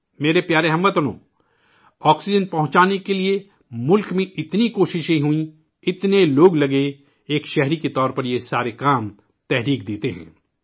میرے پیارے ہم وطنوں، آکسیجن پہنچانے کے لیے ملک میں اتنی کوشش ہوئی ، اتنے لوگ مصروف ہوئے ، ایک شہری کے طور پر یہ سارے کام تحریک دیتے ہیں